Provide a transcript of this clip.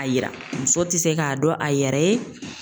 A yira , muso tɛ se k'a dɔn a yɛrɛ ye.